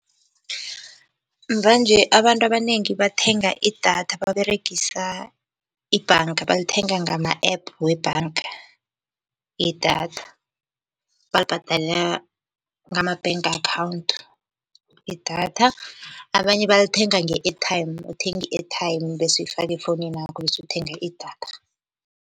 Mvanje abantu abanengi bathenga idatha baberegisa ibhanga balithenga ngama-app we bhanga idatha, balibhadala ngama-bank akhawunthu idatha. Abanye balithenga nge-airtime, uthenga i-airtime, bese uyifake efowuninakho bese uthenga idatha.